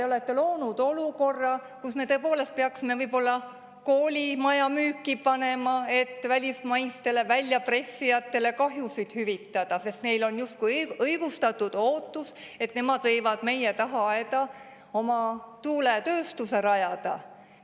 Te olete loonud olukorra, kus me tõepoolest peaksime võib-olla koolimaja müüki panema, et välismaistele väljapressijatele kahjusid hüvitada, sest neil on justkui õigustatud ootus, et nemad võivad meie tagaaeda oma tuuletööstuse rajada.